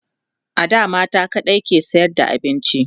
a da mata kaɗai ke sayar da abinci